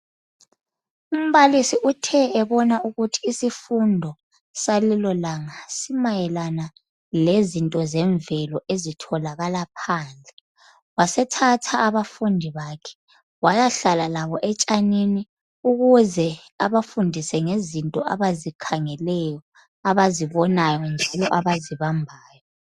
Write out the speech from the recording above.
Umbalisi uthe ebona ukuthi isifundo salelo langa simayelana lezinto zemvelo ezitholakala phandle wasethatha abafundi bakhe wayahlala labo etshanini ukuze abafundise ngezinto abazikhangeleyo abazibonayo njalo abazibambayo.